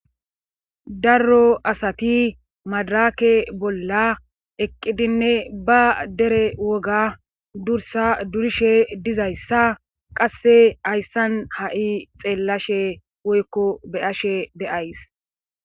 Darro asati madaraake bolla eqqidinne ba dere woga dursa durishe dizayssa qasse hayssan ha7i xeellashe woykko be ashe deays.